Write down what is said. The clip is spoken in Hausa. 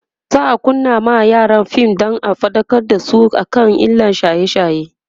za'a kunna ma yaran fim Dan faɗakar da su kan illan shaye shaye